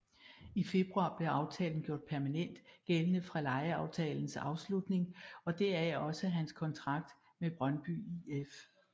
I februar blev aftalen gjort permanent gældende fra lejeaftalens afslutning og deraf også hans kontrakt med Brøndby IF